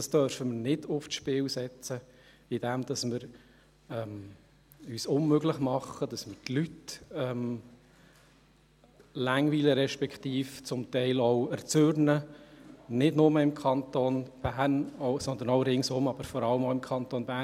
Dies dürfen wir nicht aufs Spiel setzen, indem wir uns unmöglich machen, und indem wir die Leute langweilen respektive zum Teil auch erzürnen, nicht nur im Kanton Bern, sondern auch ringsum, aber vor allem im Kanton Bern.